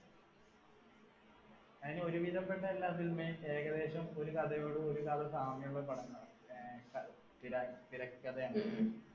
അതിനു ഒരുവിധപെട്ട എല്ലാ cinema യും ഏകദേശം ഒരു കഥയോടു ഒരു കഥ സാമ്യമുള്ള തിര തിരക്കഥയാണ്